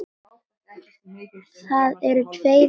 Það eru tveir menn þarna